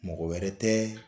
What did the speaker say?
Mɔgɔ wɛrɛ tɛ